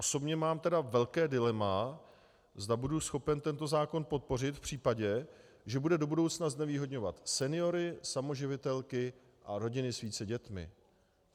Osobně mám tedy velké dilema, zda budu schopen tento zákon podpořit v případě, že bude do budoucna znevýhodňovat seniory, samoživitelky a rodiny s více dětmi.